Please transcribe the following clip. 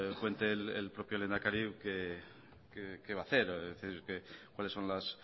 cuente el propio lehendakari qué va a hacer cuáles son los